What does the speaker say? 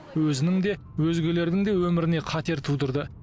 өзінің де өзгелердің де өміріне қатер тудырды